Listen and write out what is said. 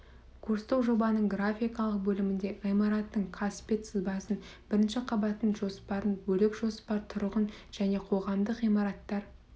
курстық жобаның графикалық бөлімінде ғимараттың қасбет сызбасын бірінші қабаттың жоспарын бөлік жоспар тұрғын және қоғамдық ғимараттар